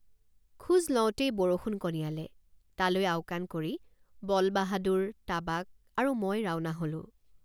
খোজ লওঁতেই বৰষুণ কণিয়ালে তালৈ আওকাণ কৰি বলবাহাদুৰ তাবাক আৰু মই ৰাওণা হলোঁ।